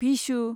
Bhishu